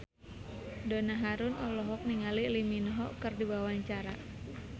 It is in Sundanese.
Donna Harun olohok ningali Lee Min Ho keur diwawancara